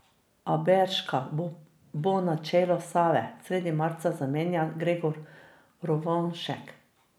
Aberška bo na čelu Save sredi marca zamenjal Gregor Rovanšek.